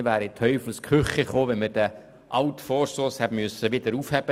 Mit der Aufhebung des alten Vorstosses wären wir in Teufels Küche geraten.